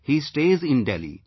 He stays in Delhi